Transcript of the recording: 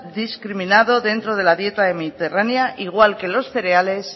discriminado dentro de la dieta mediterránea igual que los cereales